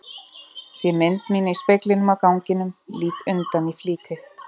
Sé mynd mína í speglinum á ganginum, lít undan í flýti.